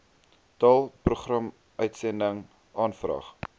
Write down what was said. taal programuitsending aanvraag